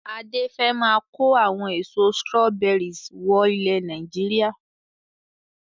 Adé fẹ máa ko àwọn èso "strawberries" wọ ilẹ̀ Nàìjíríà.